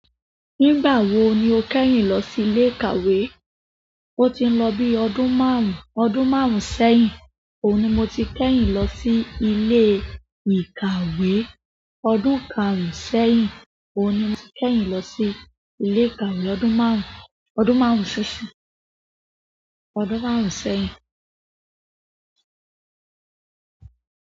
Nígbà wo ni o kẹ́yìn lọ sí ilé ìkàwé? O ti n lọ bí ọdún márùn-ún, ọdún márùn-ún sẹ́yìn. Oun ni mo ti kẹ́yìn lo si ilee ìkàwé ọdún kárùn-ún sẹ́yìn. Oun ni mo ti kẹ́yìn lọ sí ilé ìkàwé ọdún márùn-ún, ọdún márùn-ún ṣoṣi. Ọdún márùn-ún sẹ́yìn.